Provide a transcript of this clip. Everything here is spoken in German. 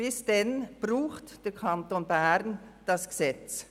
Bis dahin braucht der Kanton Bern dieses Gesetz.